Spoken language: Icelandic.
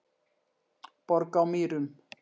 Borg á Mýrum